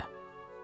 Heç yerdə.